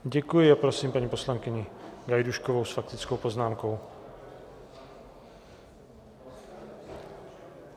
Děkuji a prosím paní poslankyni Gajdůškovou s faktickou poznámkou.